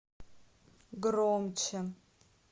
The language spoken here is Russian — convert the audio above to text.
громче